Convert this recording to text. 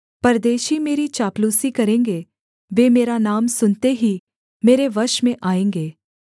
परदेशी मेरी चापलूसी करेंगे वे मेरा नाम सुनते ही मेरे वश में आएँगे